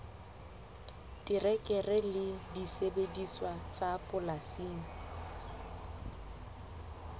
terekere le disebediswa tsa polasing